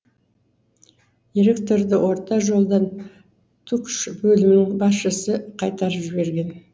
директорды орта жолдан түкш бөлімінің басшысы қайтарып жіберген